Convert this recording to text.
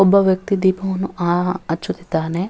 ಒಬ್ಬ ವ್ಯಕ್ತಿ ದೀಪವನ್ನು ಅ ಹಚ್ಚುತ್ತಿದ್ದಾನೆ.